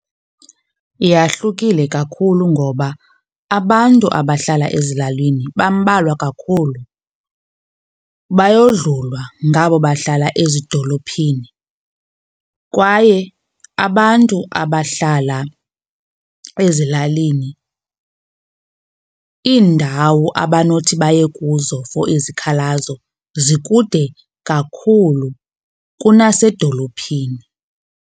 Yahlukile kakhulu ngoba abantu abahlala ezilalini bambalwa kakhulu, bayodlulwa ngabo bahlala ezidolophini. Kwaye abantu abahlala ezilalini, iindawo abanothi baye kuzo for izikhalazo zikude kakhulu kunasedolophini.